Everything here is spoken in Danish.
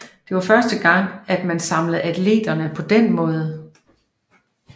Det var første gang at man samlede atleterne på denne måde